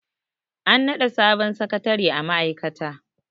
an naɗa sabon sakatare a ma'aikata